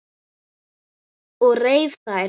Ég reif þær.